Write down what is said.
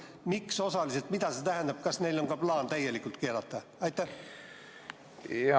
Miks nad on keelanud ainult osaliselt, mida see tähendab ja kas neil on ka plaan täielikult keelata?